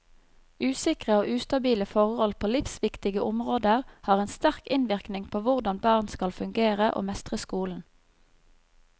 Usikre og ustabile forhold på livsviktige områder har en sterk innvirkning på hvordan barn skal fungere og mestre skolen.